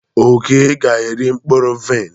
Oke ga-eri mkpụrụ vaịn.